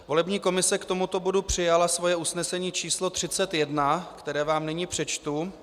Volební komise k tomuto bodu přijala svoje usnesení číslo 31, které vám nyní přečtu.